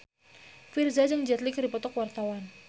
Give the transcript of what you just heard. Virzha jeung Jet Li keur dipoto ku wartawan